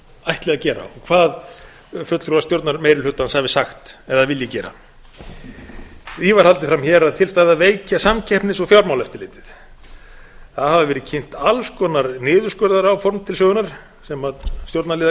ætli að gera og hvað fulltrúar stjórnarmeirihlutans hafi sagt eða vilji gera því var haldið fram hér að til stæði að veikja samkeppnis og fjármálaeftirlitið það hafa verið kynnt alls konar niðurskurðaráform til sögunnar sem stjórnarliðar